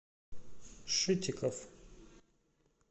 шитиков